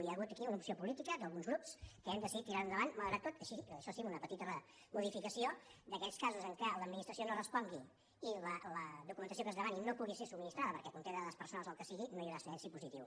hi ha hagut aquí una opció política d’alguns grups que hem decidit tirar ho endavant malgrat tot això sí amb una petita modificació d’aquells casos en què l’administració no respongui i la documentació que es demani no pugui ser subministrada perquè conté dades personals o el que sigui no hi haurà silenci positiu